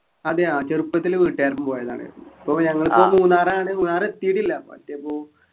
അതെ ആഹ് ചെറുപ്പത്തിൽ വീട്ടുകാരൊപ്പം പോയതാണ് പ്പോ ഞങ്ങൾക്ക് മൂന്നാറാണ് മൂന്നാറെത്തിയിട്ടില്ല അപ്പൊ എത്തിയാ പോവു